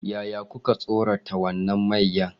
Yaya kuka tsorata wannan mayya?